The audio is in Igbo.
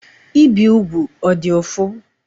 Ibi ugwu ọ dị ụfụ?